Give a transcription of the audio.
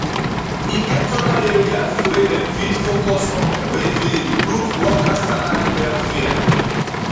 e get oda areas wey dem fit focus on wey fit improve worker salary welfare